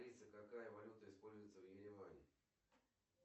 алиса какая валюта используется в ереване